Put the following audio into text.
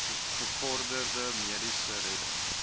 gevorderde mediese redding